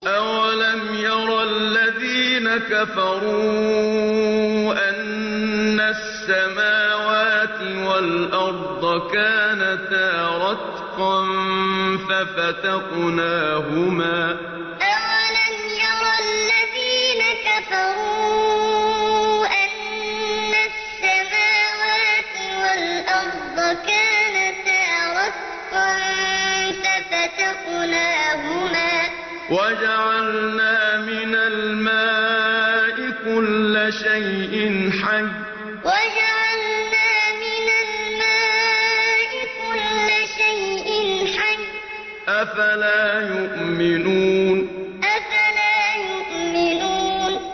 أَوَلَمْ يَرَ الَّذِينَ كَفَرُوا أَنَّ السَّمَاوَاتِ وَالْأَرْضَ كَانَتَا رَتْقًا فَفَتَقْنَاهُمَا ۖ وَجَعَلْنَا مِنَ الْمَاءِ كُلَّ شَيْءٍ حَيٍّ ۖ أَفَلَا يُؤْمِنُونَ أَوَلَمْ يَرَ الَّذِينَ كَفَرُوا أَنَّ السَّمَاوَاتِ وَالْأَرْضَ كَانَتَا رَتْقًا فَفَتَقْنَاهُمَا ۖ وَجَعَلْنَا مِنَ الْمَاءِ كُلَّ شَيْءٍ حَيٍّ ۖ أَفَلَا يُؤْمِنُونَ